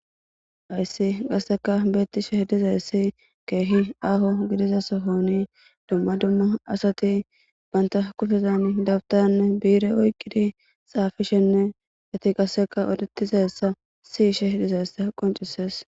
ayssi gasseka beettishe dizayssi keehi aaho gidiza sohoni dumma dumma asati banta kufezan dabtann biire oyqidi xaafishenne gati qasseka odetizayssa siishe dizayssa qoncises